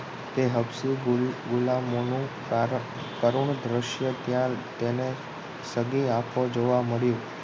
તે સૌથી ગુલામોનુ કરુણ દ્રશ્ય ત્યા તેને સગી આંખો જોવા મળ્યુ